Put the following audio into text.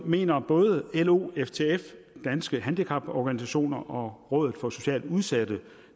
mener både lo ftf danske handicaporganisationer og rådet for socialt udsatte